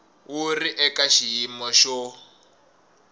wu ri eka xiyimo xo